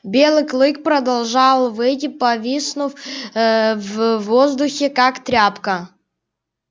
белый клык продолжал выть повиснув ээ в воздухе как тряпка